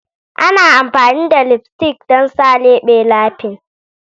Ana amfani da lipstick don sa lebe laughing.